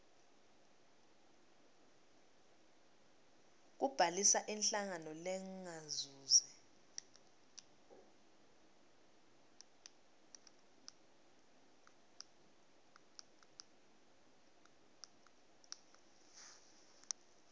kubhalisa inhlangano lengazuzi